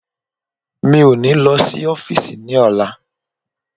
Mi ó ní lo sí ọ́físì ní ọ̀la